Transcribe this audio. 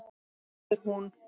biður hún.